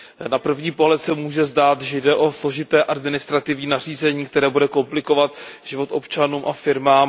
Na první pohled se může zdát, že jde o složité administrativní nařízení, které bude komplikovat život občanům a firmám.